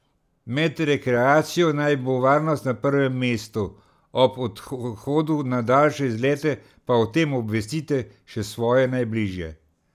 Med rekreacijo naj bo varnost na prvem mestu, ob odhodu na daljše izlete pa o tem obvestite še svoje najbližje.